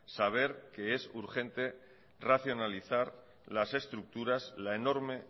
saber que es urgente racionalizar las estructuras la enorme